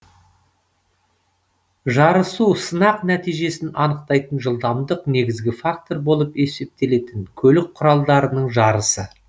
жарысу сынақ нәтижесін анықтайтын жылдамдық негізгі фактор болып есептелетін көлік құралдарының жарысы